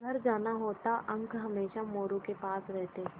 घर जाना होता अंक हमेशा मोरू के पास रहते